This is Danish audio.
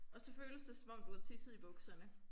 Og så føles det som om du har tisset i bukserne